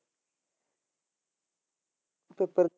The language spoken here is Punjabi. ਪੇਪਰ।